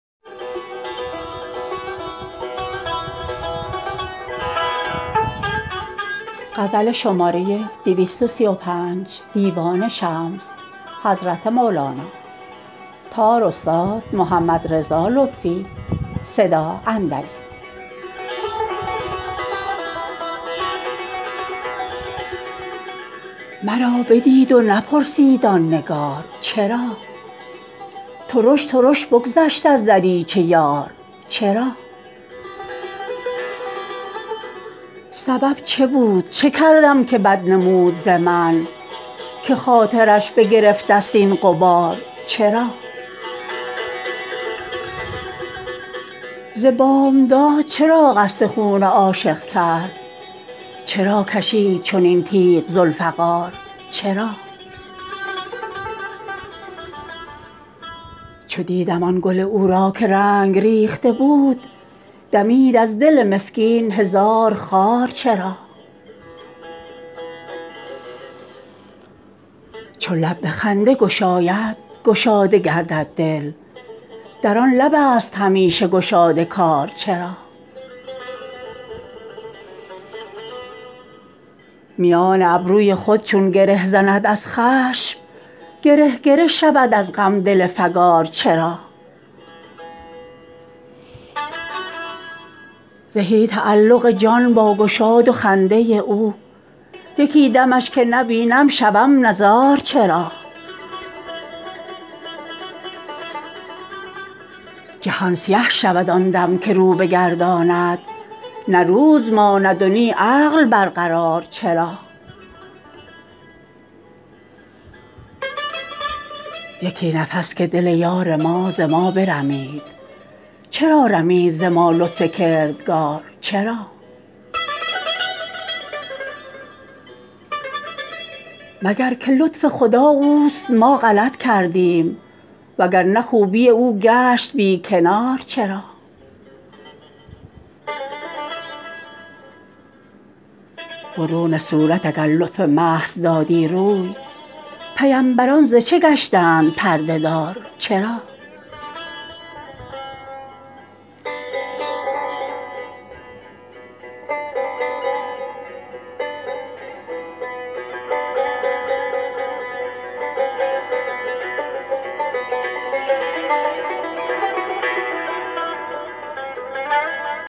مرا بدید و نپرسید آن نگار چرا ترش ترش بگذشت از دریچه یار چرا سبب چه بود چه کردم که بد نمود ز من که خاطرش بگرفتست این غبار چرا ز بامداد چرا قصد خون عاشق کرد چرا کشید چنین تیغ ذوالفقار چرا چو دیدم آن گل او را که رنگ ریخته بود دمید از دل مسکین هزار خار چرا چو لب به خنده گشاید گشاده گردد دل در آن لبست همیشه گشاد کار چرا میان ابروی خود چون گره زند از خشم گره گره شود از غم دل فگار چرا زهی تعلق جان با گشاد و خنده او یکی دمش که نبینم شوم نزار چرا جهان سیه شود آن دم که رو بگرداند نه روز ماند و نی عقل برقرار چرا یکی نفس که دل یار ما ز ما برمید چرا رمید ز ما لطف کردگار چرا مگر که لطف خدا اوست ما غلط کردیم وگر نه خوبی او گشت بی کنار چرا برون صورت اگر لطف محض دادی روی پیمبران ز چه گشتند پرده دار چرا